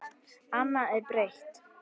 Annað er breytt.